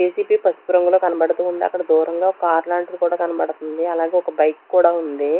JCB పసుపు రంగులో కనబడుతూ ఉంది అక్కడ దూరంగా కార్ లాంటిది కూడా కనబడుతుంది అలాగే ఒక బైక్ కూడా ఉంది.